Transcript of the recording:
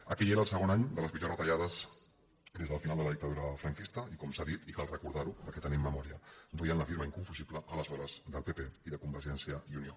aquell era el segon any de les pitjors retallades des del final de la dictadura franquista i com s’ha dit i cal recordar ho perquè tenim memòria duien la firma inconfusible aleshores del pp i de convergència i unió